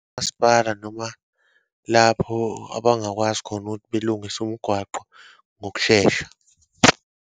Umasipala noma lapho abangakwazi khona ukuthi belungise umgwaqo ngokushesha.